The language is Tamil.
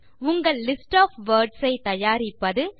உங்கள் லிஸ்ட் ஒஃப் வர்ட்ஸ் ஐ தயாரிப்பது